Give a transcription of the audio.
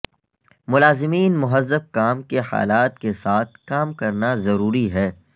ملازمین مہذب کام کے حالات کے ساتھ کام کرنا ضروری ہے